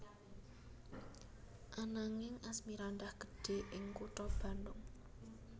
Ananging Asmirandah gedhe ing kutha Bandung